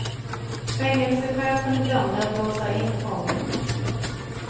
Fängelsechefen glömde att låsa in fången.